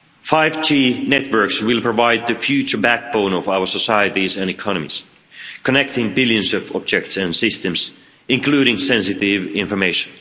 5G networks will provide the future backbone of our societies and economies, connecting billions of objects and systems, including sensitive information.